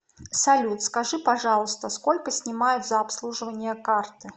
салют скажи пожалуйста сколько снимают за обслуживание карты